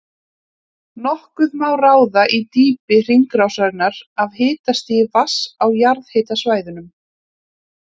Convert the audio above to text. Nokkuð má ráða í dýpi hringrásarinnar af hitastigi vatns á jarðhitasvæðunum.